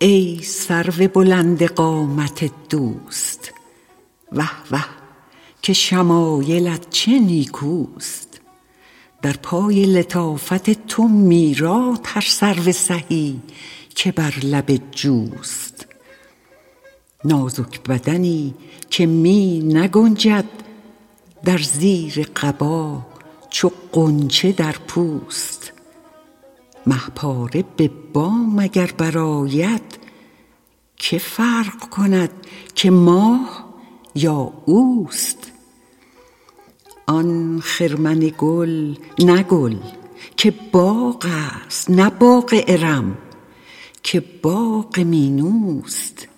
ای سرو بلند قامت دوست وه وه که شمایلت چه نیکوست در پای لطافت تو میراد هر سرو سهی که بر لب جوست نازک بدنی که می نگنجد در زیر قبا چو غنچه در پوست مه پاره به بام اگر برآید که فرق کند که ماه یا اوست آن خرمن گل نه گل که باغ است نه باغ ارم که باغ مینوست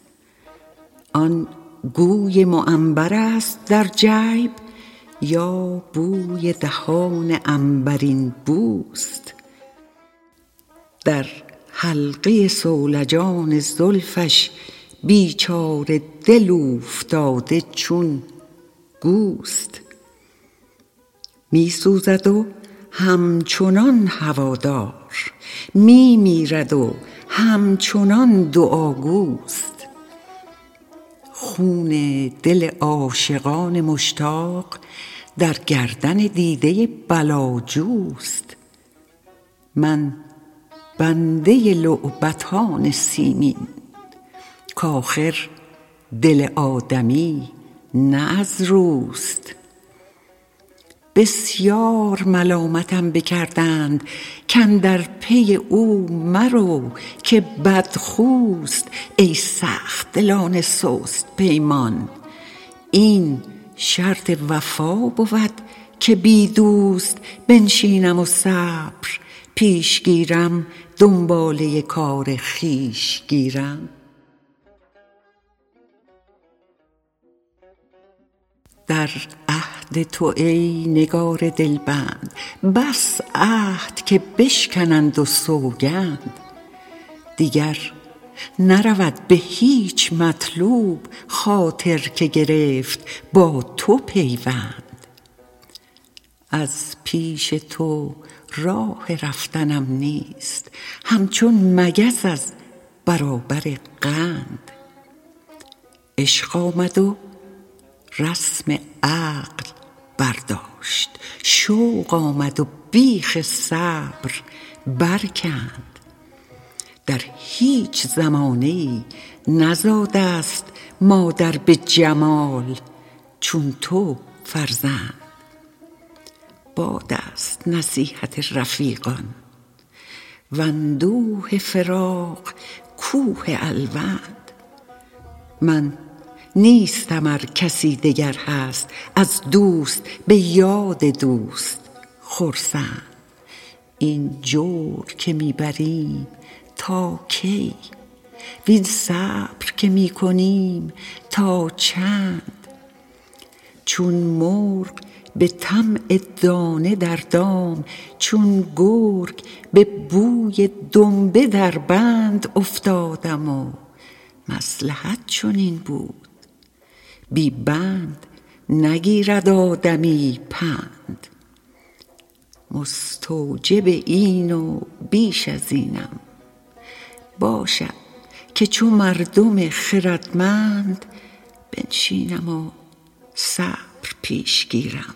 آن گوی معنبرست در جیب یا بوی دهان عنبرین بوست در حلقه صولجان زلفش بیچاره دل اوفتاده چون گوست می سوزد و همچنان هوادار می میرد و همچنان دعاگوست خون دل عاشقان مشتاق در گردن دیده بلاجوست من بنده لعبتان سیمین کآخر دل آدمی نه از روست بسیار ملامتم بکردند کاندر پی او مرو که بدخوست ای سخت دلان سست پیمان این شرط وفا بود که بی دوست بنشینم و صبر پیش گیرم دنباله کار خویش گیرم در عهد تو ای نگار دلبند بس عهد که بشکنند و سوگند دیگر نرود به هیچ مطلوب خاطر که گرفت با تو پیوند از پیش تو راه رفتنم نیست همچون مگس از برابر قند عشق آمد و رسم عقل برداشت شوق آمد و بیخ صبر برکند در هیچ زمانه ای نزاده ست مادر به جمال چون تو فرزند باد است نصیحت رفیقان واندوه فراق کوه الوند من نیستم ار کسی دگر هست از دوست به یاد دوست خرسند این جور که می بریم تا کی وین صبر که می کنیم تا چند چون مرغ به طمع دانه در دام چون گرگ به بوی دنبه در بند افتادم و مصلحت چنین بود بی بند نگیرد آدمی پند مستوجب این و بیش از اینم باشد که چو مردم خردمند بنشینم و صبر پیش گیرم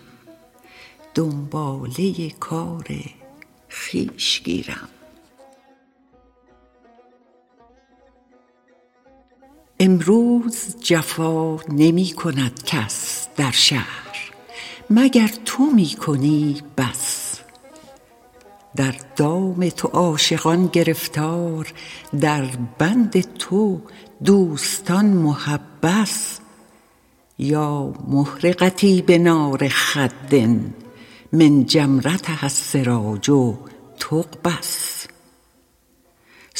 دنباله کار خویش گیرم امروز جفا نمی کند کس در شهر مگر تو می کنی بس در دام تو عاشقان گرفتار در بند تو دوستان محبس یا محرقتي بنار خد من جمرتها السراج تقبس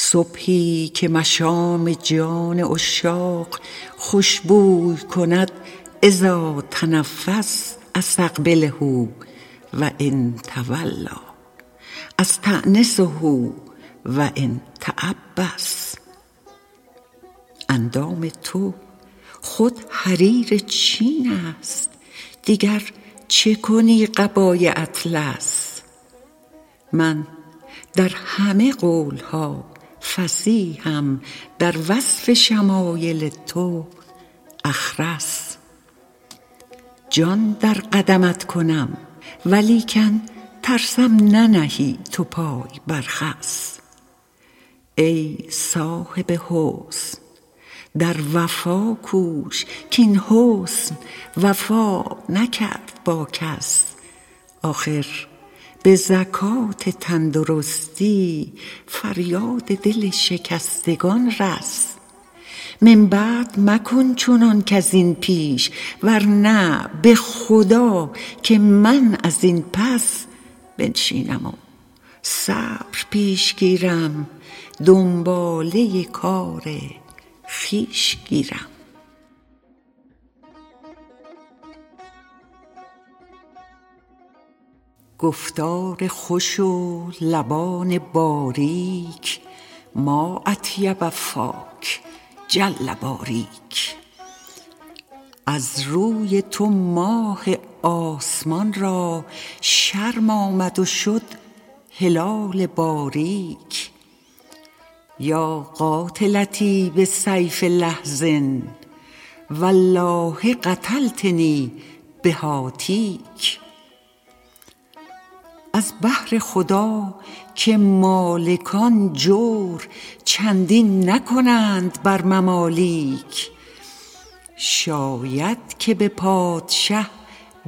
صبحی که مشام جان عشاق خوش بوی کند إذا تنفس أستقبله و إن تولیٰ أستأنسه و إن تعبس اندام تو خود حریر چین است دیگر چه کنی قبای اطلس من در همه قول ها فصیحم در وصف شمایل تو أخرس جان در قدمت کنم ولیکن ترسم ننهی تو پای بر خس ای صاحب حسن در وفا کوش کاین حسن وفا نکرد با کس آخر به زکات تندرستی فریاد دل شکستگان رس من بعد مکن چنان کز این پیش ورنه به خدا که من از این پس بنشینم و صبر پیش گیرم دنباله کار خویش گیرم گفتار خوش و لبان باریک ما أطیب فاک جل باریک از روی تو ماه آسمان را شرم آمد و شد هلال باریک یا قاتلتی بسیف لحظ والله قتلتنی بهاتیک از بهر خدا که مالکان جور چندین نکنند بر ممالیک شاید که به پادشه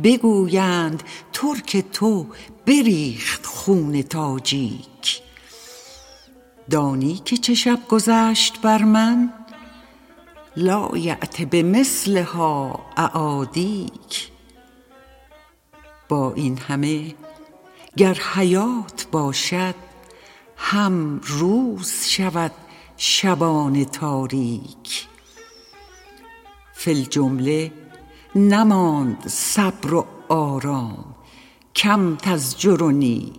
بگویند ترک تو بریخت خون تاجیک دانی که چه شب گذشت بر من لایأت بمثلها أعادیک با این همه گر حیات باشد هم روز شود شبان تاریک فی الجمله نماند صبر و آرام کم تزجرنی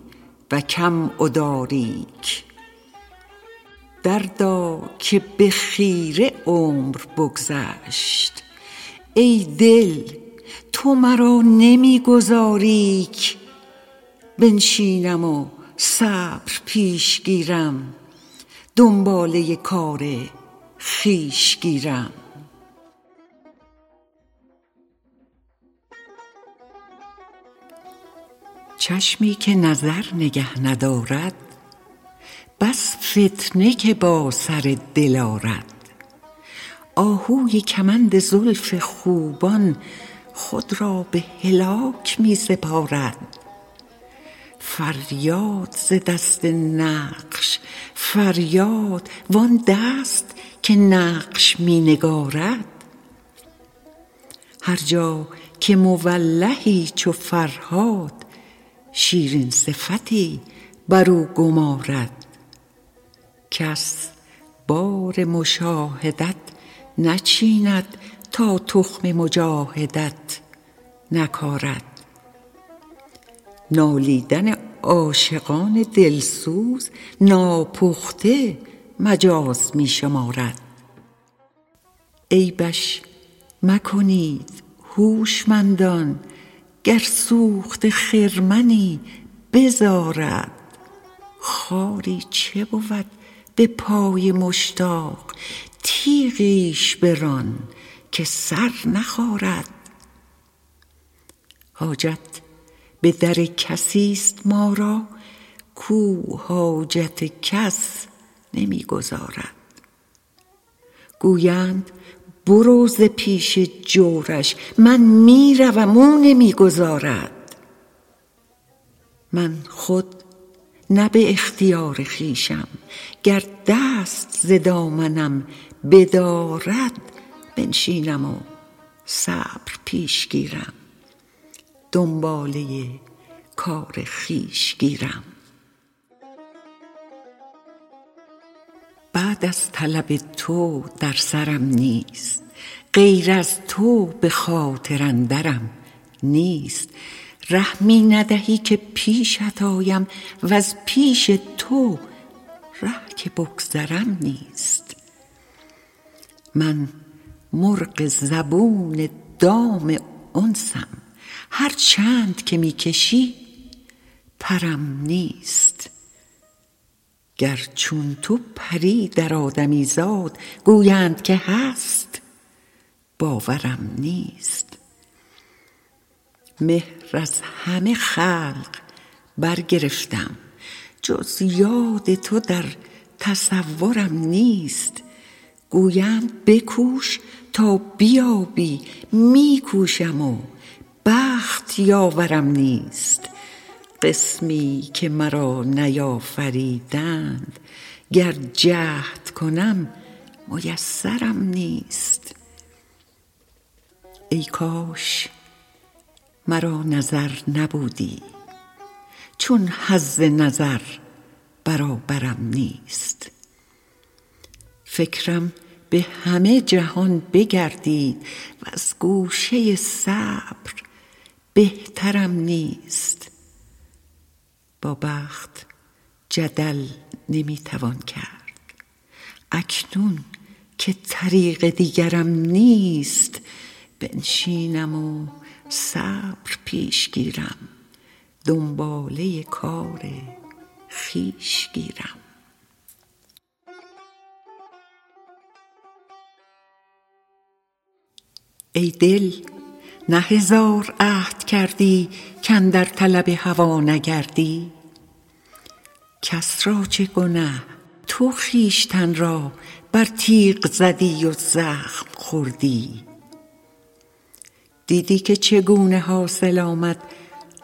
و کم أداریک دردا که به خیره عمر بگذشت ای دل تو مرا نمی گذاری ک بنشینم و صبر پیش گیرم دنباله کار خویش گیرم چشمی که نظر نگه ندارد بس فتنه که با سر دل آرد آهوی کمند زلف خوبان خود را به هلاک می سپارد فریاد ز دست نقش فریاد وآن دست که نقش می نگارد هر جا که مولهی چو فرهاد شیرین صفتی برو گمارد کس بار مشاهدت نچیند تا تخم مجاهدت نکارد نالیدن عاشقان دل سوز ناپخته مجاز می شمارد عیبش مکنید هوشمندان گر سوخته خرمنی بزارد خاری چه بود به پای مشتاق تیغیش بران که سر نخارد حاجت به در کسی ست ما را کاو حاجت کس نمی گزارد گویند برو ز پیش جورش من می روم او نمی گذارد من خود نه به اختیار خویشم گر دست ز دامنم بدارد بنشینم و صبر پیش گیرم دنباله کار خویش گیرم بعد از طلب تو در سرم نیست غیر از تو به خاطر اندرم نیست ره می ندهی که پیشت آیم وز پیش تو ره که بگذرم نیست من مرغ زبون دام انسم هر چند که می کشی پرم نیست گر چون تو پری در آدمیزاد گویند که هست باورم نیست مهر از همه خلق برگرفتم جز یاد تو در تصورم نیست گویند بکوش تا بیابی می کوشم و بخت یاورم نیست قسمی که مرا نیافریدند گر جهد کنم میسرم نیست ای کاش مرا نظر نبودی چون حظ نظر برابرم نیست فکرم به همه جهان بگردید وز گوشه صبر بهترم نیست با بخت جدل نمی توان کرد اکنون که طریق دیگرم نیست بنشینم و صبر پیش گیرم دنباله کار خویش گیرم ای دل نه هزار عهد کردی کاندر طلب هوا نگردی کس را چه گنه تو خویشتن را بر تیغ زدی و زخم خوردی دیدی که چگونه حاصل آمد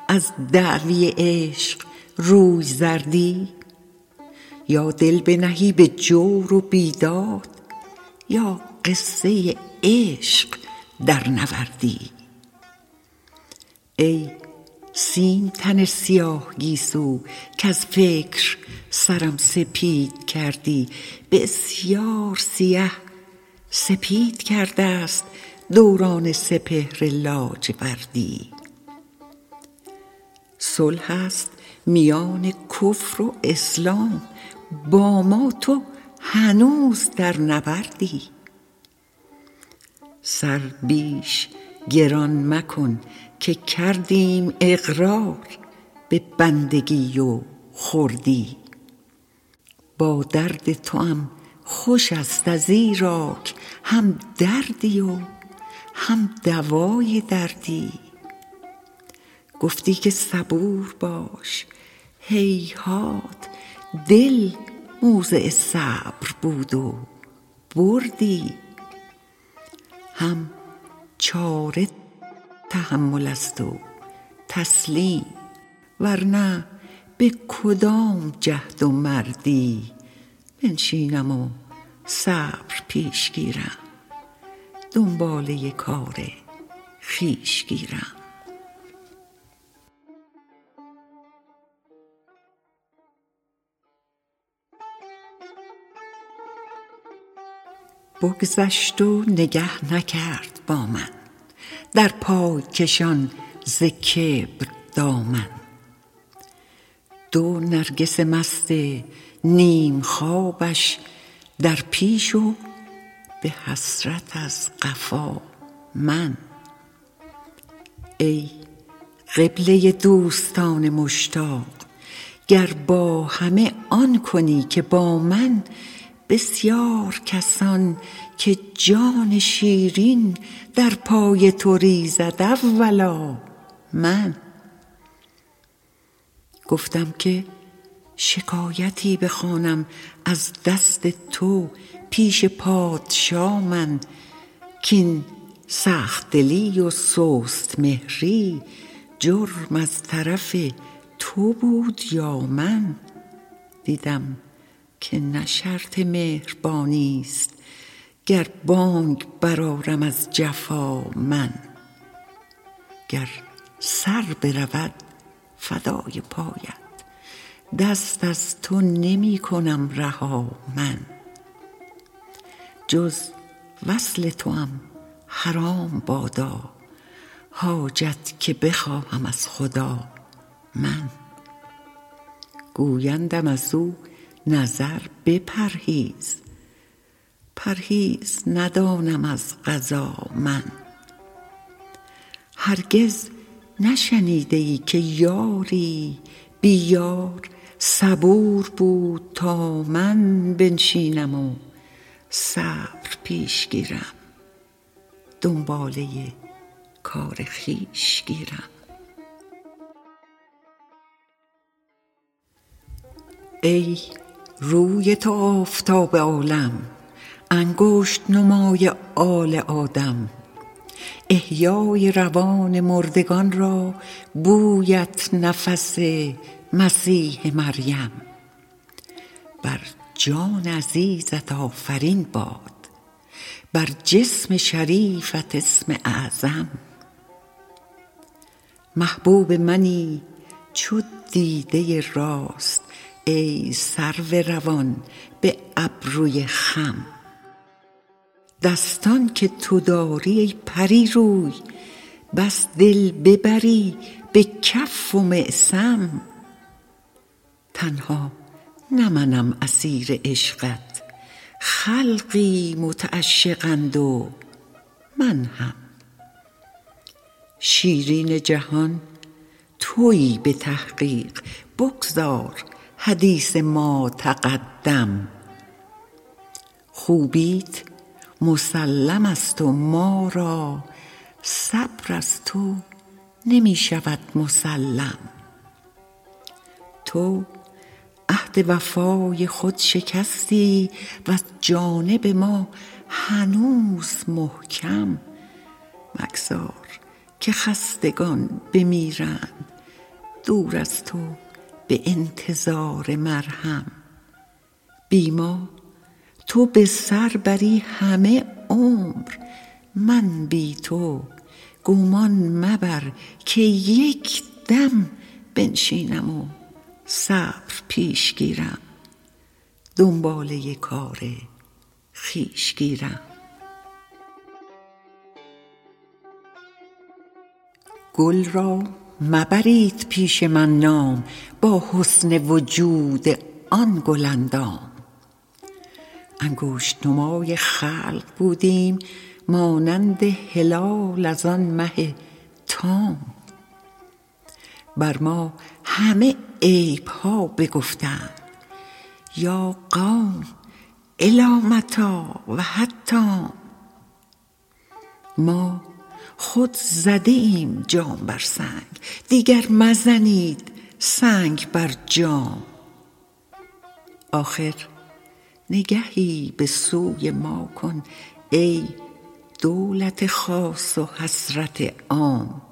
از دعوی عشق روی زردی یا دل بنهی به جور و بیداد یا قصه عشق درنوردی ای سیم تن سیاه گیسو کز فکر سرم سپید کردی بسیار سیه سپید کرده ست دوران سپهر لاجوردی صلح است میان کفر و اسلام با ما تو هنوز در نبردی سر بیش گران مکن که کردیم اقرار به بندگی و خردی با درد توام خوش ست ازیراک هم دردی و هم دوای دردی گفتی که صبور باش هیهات دل موضع صبر بود و بردی هم چاره تحمل است و تسلیم ورنه به کدام جهد و مردی بنشینم و صبر پیش گیرم دنباله کار خویش گیرم بگذشت و نگه نکرد با من در پای کشان ز کبر دامن دو نرگس مست نیم خوابش در پیش و به حسرت از قفا من ای قبله دوستان مشتاق گر با همه آن کنی که با من بسیار کسان که جان شیرین در پای تو ریزد اولا من گفتم که شکایتی بخوانم از دست تو پیش پادشا من کاین سخت دلی و سست مهری جرم از طرف تو بود یا من دیدم که نه شرط مهربانی ست گر بانگ برآرم از جفا من گر سر برود فدای پایت دست از تو نمی کنم رها من جز وصل توام حرام بادا حاجت که بخواهم از خدا من گویندم ازو نظر بپرهیز پرهیز ندانم از قضا من هرگز نشنیده ای که یاری بی یار صبور بود تا من بنشینم و صبر پیش گیرم دنباله کار خویش گیرم ای روی تو آفتاب عالم انگشت نمای آل آدم احیای روان مردگان را بویت نفس مسیح مریم بر جان عزیزت آفرین باد بر جسم شریفت اسم اعظم محبوب منی چو دیده راست ای سرو روان به ابروی خم دستان که تو داری ای پری روی بس دل ببری به کف و معصم تنها نه منم اسیر عشقت خلقی متعشقند و من هم شیرین جهان تویی به تحقیق بگذار حدیث ما تقدم خوبیت مسلم ست و ما را صبر از تو نمی شود مسلم تو عهد وفای خود شکستی وز جانب ما هنوز محکم مگذار که خستگان بمیرند دور از تو به انتظار مرهم بی ما تو به سر بری همه عمر من بی تو گمان مبر که یک دم بنشینم و صبر پیش گیرم دنباله کار خویش گیرم گل را مبرید پیش من نام با حسن وجود آن گل اندام انگشت نمای خلق بودیم مانند هلال از آن مه تام بر ما همه عیب ها بگفتند یا قوم إلی متیٰ و حتام ما خود زده ایم جام بر سنگ دیگر مزنید سنگ بر جام آخر نگهی به سوی ما کن ای دولت خاص و حسرت عام